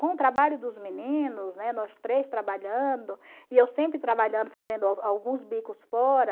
Com o trabalho dos meninos, né, nós três trabalhando, e eu sempre trabalhando, fazendo alguns bicos fora...